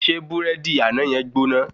Ṣé burẹdi àná yen gbóná?